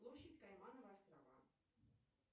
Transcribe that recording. площадь каймановы острова